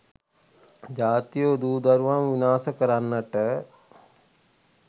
ජාතියේ දූ දරුවන් විනාශ කරන්නන්ට